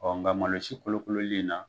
nka malosi kolokololen in na